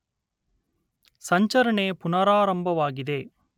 ಸಂಚರಣೆ ಪುನರಾರಂಭವಾಗಿದೆ